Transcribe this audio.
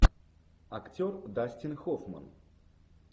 актер дастин хоффман